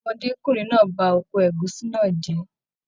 Ọmọdekunrin náà ba oko ẹ̀gúsí náà jẹ.